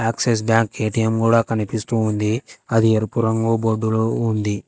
Axis bank ATM కూడా కనిపిస్తూ ఉంది అది ఎరుపు రంగు బోర్డు ఉంది.